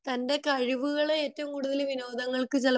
തന്റെ കഴിവുകൾ ഏറ്റവും കൂടുതൽ വിനോദങ്ങൾക് ചിലപ്പോ